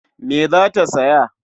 Me za ta saya?